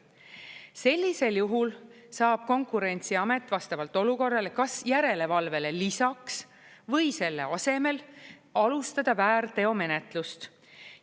Sellisel juhul saab Konkurentsiamet vastavalt olukorrale kas järelevalvele lisaks või selle asemel alustada väärteomenetlust.